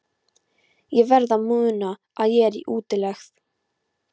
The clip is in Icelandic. Ég verð að muna að ég er í útlegð.